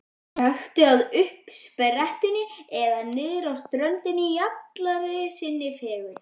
Gakktu að uppsprettunni eða niðrá ströndina í allri sinni fegurð.